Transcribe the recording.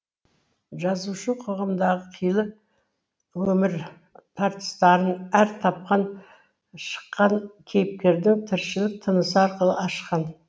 жазушы қоғамдағы қилы өмір тартыстарын әр тапқан шыққан кейіпкердің тіршілік тынысы арқылы ашқан